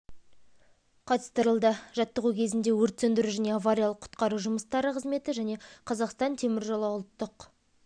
қатыстырылды жаттығу кезінде өрт сөндіру және авариялық құтқару жұмыстары қызметі және қазақстан темір жолы ұлттық